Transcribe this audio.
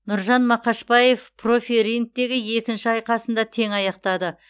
нұржан мақашбаев профи рингтегі екінші айқасында тең аяқтады